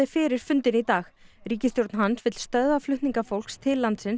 fyrir fundinn í dag ríkisstjórn hans stöðva flutninga fólks til landsins